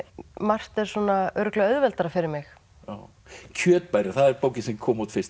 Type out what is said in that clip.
margt er svona örugglega auðveldara fyrir mig kjötbærinn það er bókin sem kom út fyrst